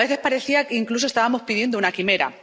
A veces parecía que incluso estábamos pidiendo una quimera.